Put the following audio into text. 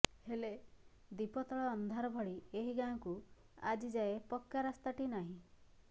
ହେଲେ ଦୀପତଳ ଅନ୍ଧାର ଭଳି ଏହି ଗାଁକୁ ଆଜି ଯାଏଁ ପକ୍କା ରାସ୍ତାଟି ନାହିଁ